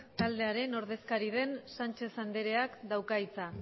taldearen ordezkari den sánchez andreak dauka hitza